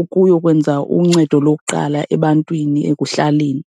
ukuyokwenza uncedo lokuqala ebantwini ekuhlaleni.